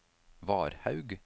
Varhaug